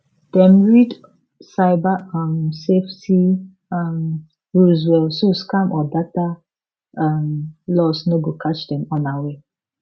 dem read cyber um safety um rules well so scam or data um loss no go catch dem unaware